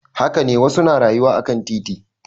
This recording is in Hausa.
Haka ne wasu na rayuwa akan titi.